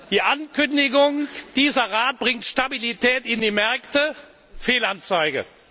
Die Ankündigung, dieser Rat bringe Stabilität in die Märkte Fehlanzeige.